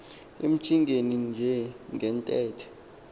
emcingeni nje ngentethe